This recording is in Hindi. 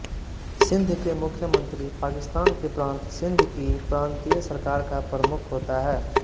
सिंध के मुख्यमंत्री पाकिस्तान के प्रांत सिंध की प्रांतीय सरकार का प्रमुख होता है